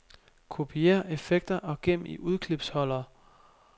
Kopiér effekter og gem i udklipsholder.